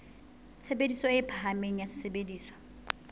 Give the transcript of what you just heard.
tshebediso e phahameng ya sesebediswa